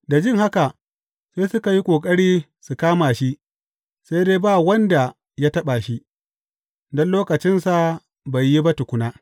Da jin haka, sai suka yi ƙoƙari su kama shi, sai dai ba wanda ya taɓa shi, don lokacinsa bai yi ba tukuna.